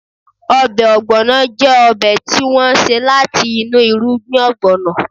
Ọbẹ̀ Ogbono jẹ́ ọbẹ̀ tí wọ́n ṣe láti inú irugbin ogbono